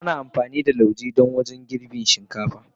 Ana amfani da lauje wajen girbin shinkafa.